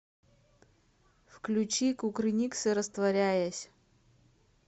включи кукрыниксы растворяясь